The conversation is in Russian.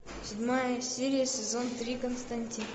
седьмая серия сезон три константин